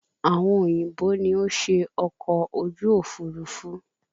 Àwọn òyìnbó ni ó ṣe ọkọ̀ ojú òfurufú